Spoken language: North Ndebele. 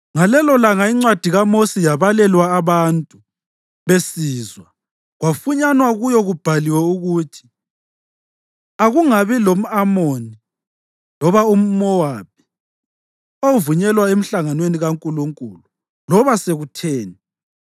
Ngalelolanga iNcwadi kaMosi yabalelwa abantu besizwa kwafunyanwa kuyo kubhaliwe ukuthi akungabi lamʼAmoni loba umʼMowabi ovunyelwa emhlanganweni kaNkulunkulu, loba sekutheni,